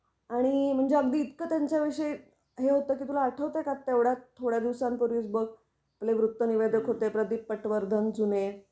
आणि म्हणजे अगदी इतक त्यांच्या विषयी हे होत कि तुला आठवतं का तेवढात थोड्याच दिवसांन पूर्वीच बघ आपले वृत्तनिवेदक होते प्रदीप पटवर्धन जुने